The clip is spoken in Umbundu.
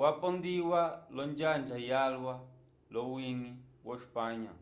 yapondiwa lonjanga yalwa lowiñgi wo-espanha